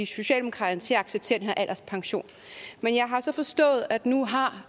socialdemokraterne til at acceptere den her alderspension men jeg har så forstået at nu har